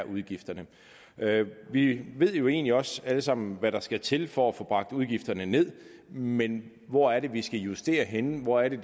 udgifterne er er vi ved jo egentlig også alle sammen hvad der skal til for at få bragt udgifterne ned men hvor er det vi skal justere henne hvor er det